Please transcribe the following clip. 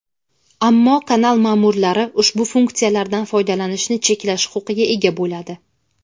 ammo kanal ma’murlari ushbu funksiyalardan foydalanishni cheklash huquqiga ega bo‘ladi.